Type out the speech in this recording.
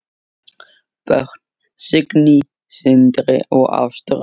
Börn: Signý, Sindri og Ástrós.